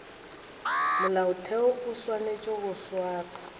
molaotheo o swanetše go swara